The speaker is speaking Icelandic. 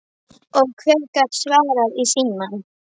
Og hver gat svarað í símann?